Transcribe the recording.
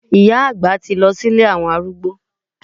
Ìyá àgbà ti lọ sí ilé àwọn arúgbó.